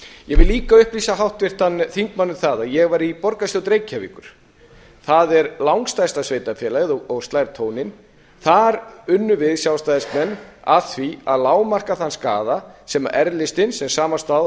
vil líka upplýsa háttvirtan þingmann um það að ég var í borgarstjórn reykjavíkur það er langstærsta sveitarfélagið og slær tóninn þar unnum við sjálfstæðismenn að því að lágmarka þann skaða sem r listinn sem samanstóð af